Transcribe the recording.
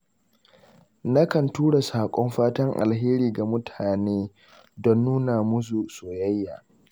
Nakan tura saƙon fatan alheri ga mutane don nuna musu soyayya.